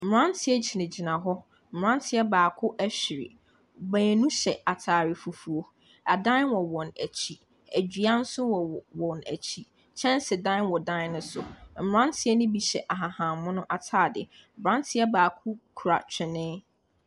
Mmeranteɛ gyinagyina hɔ. Mmeranteɛ baako ahwiri. Baanu hyɛ atare fufuo. Adan wɔ wɔn akyi. Dua nso wɔ wɔ wɔn akyi. Kyɛnsedan wɔ dan no so. Mmeranteɛ no bi hyɛ ahahan mono atade. Aberanteɛ baako kura twene.